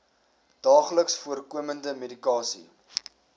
daagliks voorkomende medikasie